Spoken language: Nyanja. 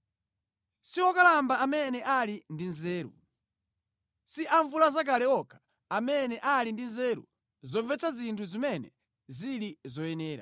Si okalamba amene ali ndi nzeru, si amvulazakale okha amene ali ndi nzeru zomvetsa zinthu zimene zili zoyenera.